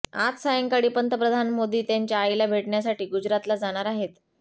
आज सायंकाळी पंतप्रधान मोदी त्यांच्या आईला भेटण्यासाठी गुजरातला जाणार आहेत